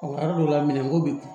yɔrɔ dɔw la minɛnko bɛ yen